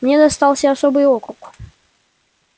мне достался особый округ